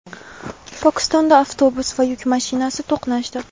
Pokistonda avtobus va yuk mashinasi to‘qnashdi.